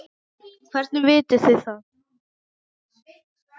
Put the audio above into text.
Hvernig vitið þið það?